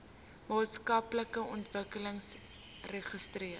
maatskaplike ontwikkeling registreer